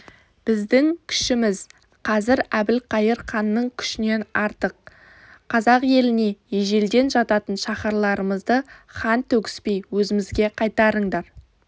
біздің күшіміз қазір әбілқайыр ханның күшінен артық қазақ еліне ежелден жататын шаһарларымызды қан төгіспей өзімізге қайтарыңдар